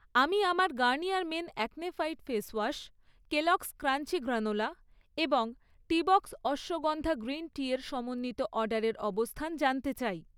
আমি আমার Garnier men acne fight face wash, Kellogg's crunchy granola এবং টিবক্স অশ্বগন্ধা গ্রিন টি এর সমন্বিত অর্ডারের অবস্থান জানতে চাই।